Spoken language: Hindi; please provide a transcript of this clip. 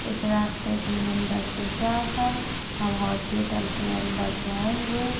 इस रास्ते पे अंदर से जाकर हम हॉस्पिटल के अंदर जाएंगे।